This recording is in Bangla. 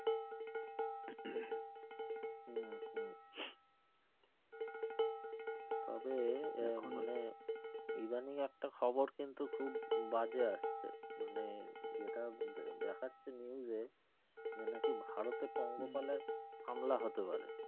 তবে আহ এখন মানে এদানিং একটা খবর কিন্তু খুব বাজে আসছে মানে যেটা দেখাচ্ছে news এ এবার নাকি ভারতে পঙ্গপালের হামলা হতে পারে।